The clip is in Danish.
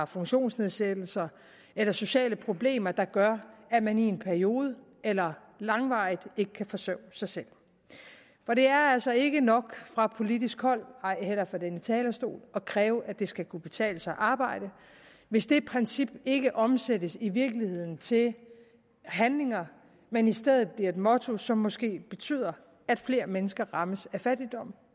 funktionsnedsættelse eller sociale problemer der gør at man i en periode eller langvarigt ikke kan forsørge sig selv og det er altså ikke nok fra politisk hold ej heller fra denne talerstol at kræve at det skal kunne betale sig at arbejde hvis det princip ikke omsættes i virkeligheden til handlinger men i stedet bliver et motto som måske betyder at flere mennesker rammes af fattigdom